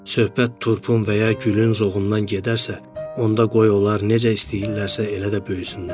Söhbət turpun və ya gülün zoğundan gedərsə, onda qoy onlar necə istəyirlərsə elə də böyüsünlər.